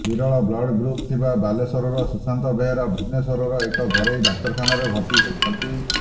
ବିରଳ blood group ଥିବା ବାଲେଶ୍ୱରର ସୁଶାନ୍ତ ବେହେରା ଭୁବନେଶ୍ବରର ଏକ ଘେରାଇ ଡାକ୍ତରଖାନାରେ ଭର୍ତ୍ତି ହୋଇଛନ୍ତି